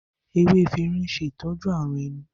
Ewé efirin n ṣe itọju àrùn ẹnu